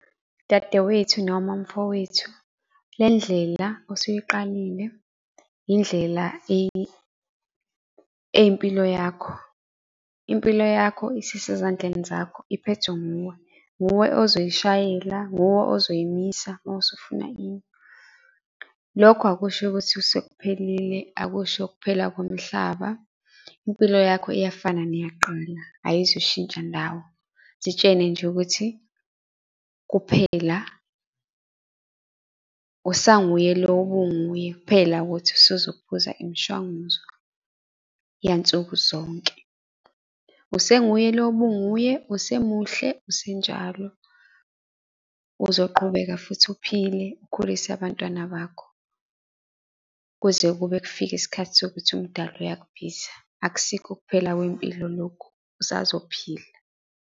Dadewethu noma mfowethu, le ndlela osuyiqalile indlela eyempilo yakho. Impilo yakho isisezandleni zakho iphethwe nguwe. Nguwe ozoyishayela, nguwe ozoyimisa mawusufuna ime. Lokho akusho ukuthi sekuphelile, akusho ukuphela komhlaba, impilo yakho iyafana neyakqala ayizushintsha ndawo. Zitshene nje ukuthi kuphela usanguye lo obunguye kuphela ukuthi usuzophuza imishwanguzo yansuku zonke. Usenguye lo bunguye, usemuhle, usenjalo, uzoqhubeka futhi uphile, ukhulise abantwana bakho kuze kube kufika isikhathi sokuthi umdalo uyakubiza, akusikho ukuphela kwempilo lokhu, usazophila.